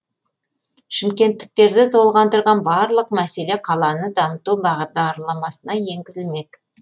шымкенттіктерді толғандырған барлық мәселе қаланы дамыту бағдарламасына енгізілмек